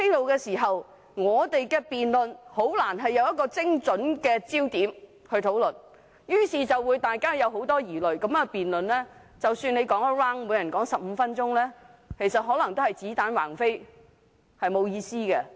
如此一來，我們的辯論就難以針對一個精準的焦點；大家滿腹疑慮之下辯論，即使每人發言15分鐘，也可能只是子彈橫飛，沒有意思。